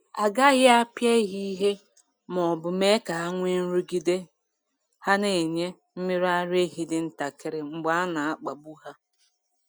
A gaghị apịa ehi ìhè ma ọ bụ mee ka ha nwee nrụgide — ha na-enye mmiri ara ehi dị ntakịrị mgbe a na-akpagbu ha.